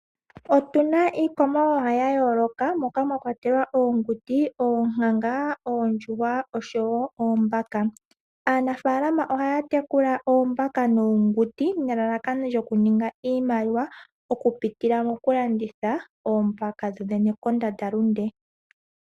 Otuna iikwamawawa ya yooloka moka mwa kwatelwa, oonguti, oonkanga, oondjuhwa osho wo oombaka. Aanafaalama ohaya tekula oombaka noonguti, nelalakano lyoku ninga iimaliwa oku pitila moku landitha oombaka dho dhene kondandalunde